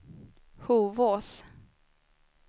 Hovås